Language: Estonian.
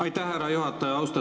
Aitäh, härra juhataja!